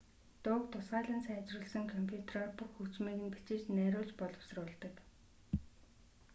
дууг тусгайлан сайжруулсан компютроор бүх хөгжмийг нь бичиж найруулж боловсруулдаг